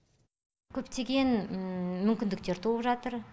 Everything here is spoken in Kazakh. көптеген мүмкіндіктер туып жатыр